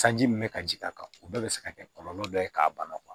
Sanji min bɛ ka ji k' a kan o bɛɛ bɛ se ka kɛ kɔlɔlɔ dɔ ye k'a ban kuwa